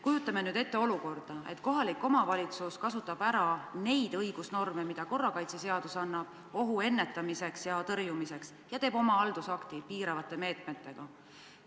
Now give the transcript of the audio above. Kujutame ette olukorda, kus kohalik omavalitsus kasutab ära neid õigusnorme, mida korrakaitseseadus annab ohu ennetamiseks ja tõrjumiseks, ja teeb oma piiravate meetmetega haldusakti.